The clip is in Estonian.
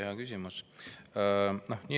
Hea küsimus!